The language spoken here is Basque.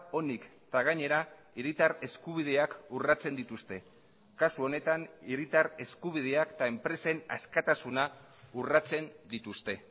onik eta gainera hiritar eskubideak urratzen dituzte kasu honetan hiritar eskubideak eta enpresen askatasuna urratzen dituzte